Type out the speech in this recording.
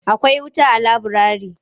Akwai wuta a laburare?